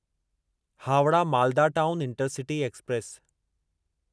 Howrah Malda Town Intercity express